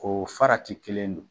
O farati kelen in don.